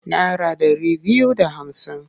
Nara ɗari biyu da hamsin.